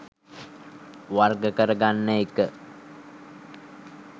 වර්ග කර ගන්න එක.